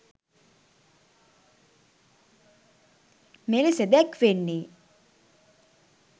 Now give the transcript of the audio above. මෙලෙස දැක්වෙන්නේ